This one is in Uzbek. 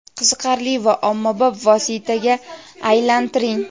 qiziqarli va ommabop vositaga aylantiring.